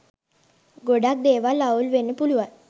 ගොඩක් දේවල් අවුල් වෙන්න පුලුවන්